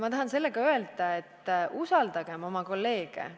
Ma tahan sellega öelda, et usaldagem oma kolleege!